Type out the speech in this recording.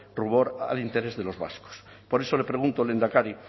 rubor al interés de los vascos por eso le pregunto lehendakari